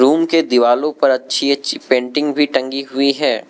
उनके दिवालों पर अच्छी अच्छी पेंटिंग भी टंगी हुई है।